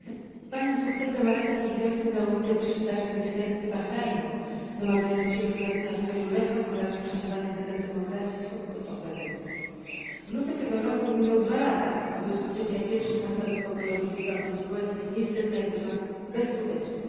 Zainspirowani sukcesem arabskiej wiosny na ulice wyszli także mieszkańcy Bahrajnu, domagając się wprowadzenia w kraju reform oraz poszanowania zasad demokracji i swobód obywatelskich. W lutym tego roku miną dwa lata od rozpoczęcia pierwszych masowych, pokojowych wystąpień społecznych niestety jak dotąd bezskutecznych.